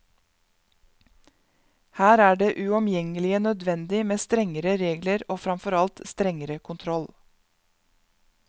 Her er det uomgjengelig nødvendig med strengere regler og fremfor alt strengere kontroll.